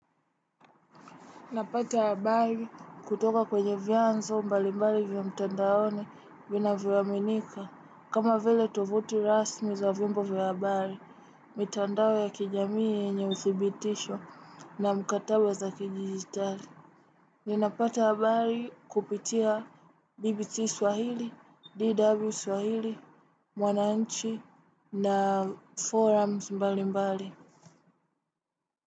Napata habari kutoka kwenye vyanzo mbali mbali vya mtandaoni vivyoaminika. Kama vile tovuti rasmi za vyombo vya habari, mitandao ya kijamii yenye uthibitisho na mkataba za kidijitari. Ninapata habari kupitia BBC Swahili, DW Swahili, Mwananchi na forums mbali mbali.